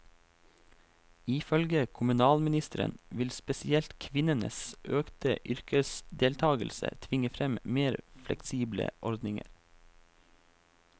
Ifølge kommunalministeren vil spesielt kvinnenes økte yrkesdeltagelse tvinge frem mer fleksible ordninger.